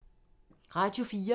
Radio 4